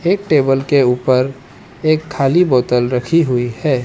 एक टेबल के ऊपर एक खाली बोतल रखी हुई है।